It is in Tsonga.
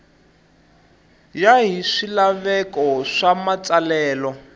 ya hi swilaveko swa matsalelo